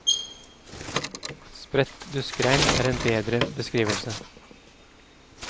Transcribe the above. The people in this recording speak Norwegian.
Spredt duskregn er en bedre beskrivelse.